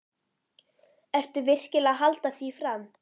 Ertu virkilega að halda því fram?